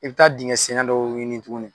I bɛ taa dingɛsenna dɔw ɲini tuguni